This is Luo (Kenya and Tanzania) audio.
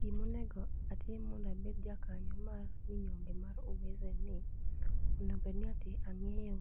Gimonego atim mondo abed ja kanyo mar minyonge mar uwezo en ni, onego bedni ati ang'eyo